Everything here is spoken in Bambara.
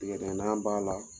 Tigadigɛnna b'a la.